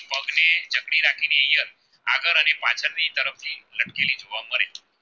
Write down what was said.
લટકેલી જોવા મળે છે